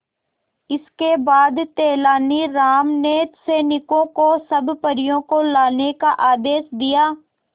इसके बाद तेलानी राम ने सैनिकों को सब परियों को लाने का आदेश दिया